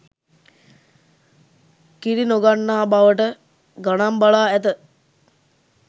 කිරි නොගන්නා බවට ගණන් බලා ඇත